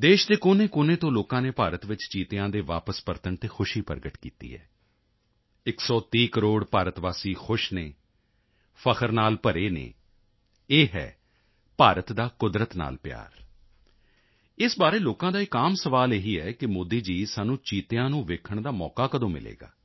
ਦੇਸ਼ ਦੇ ਕੋਨੇਕੋਨੇ ਤੋਂ ਲੋਕਾਂ ਨੇ ਭਾਰਤ ਵਿੱਚ ਚੀਤਿਆਂ ਦੇ ਵਾਪਸ ਪਰਤਣ ਤੇ ਖੁਸ਼ੀ ਪ੍ਰਗਟ ਕੀਤੀ ਹੈ 130 ਕਰੋੜ ਭਾਰਤ ਵਾਸੀ ਖੁਸ਼ ਹਨ ਫ਼ਖਰ ਨਾਲ ਭਰੇ ਹਨ ਇਹ ਹੈ ਭਾਰਤ ਦਾ ਕੁਦਰਤ ਨਾਲ ਪਿਆਰ ਇਸ ਬਾਰੇ ਲੋਕਾਂ ਦਾ ਇੱਕ ਆਮ ਸਵਾਲ ਇਹੀ ਹੈ ਕਿ ਮੋਦੀ ਜੀ ਸਾਨੂੰ ਚੀਤਿਆਂ ਨੂੰ ਦੇਖਣ ਦਾ ਮੌਕਾ ਕਦੋਂ ਮਿਲੇਗਾ